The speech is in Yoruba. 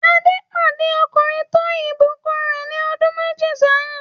Adé pàdé ọkùnrin tó ìbùkún rẹ̀ ní ọdún méjì sẹ́yìn.